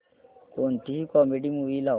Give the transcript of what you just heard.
कोणतीही comedy movie लाव